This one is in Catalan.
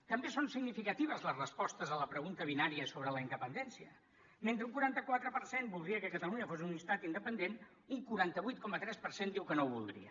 també són significatives les respostes a la pregunta binària sobre la independència mentre que un quaranta quatre per cent voldria que catalunya fos un estat independent un quaranta vuit coma tres per cent diu que no ho voldria